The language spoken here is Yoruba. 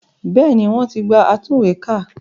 Bẹ́ẹ̀ni wọ́n ti gba atúnwèékà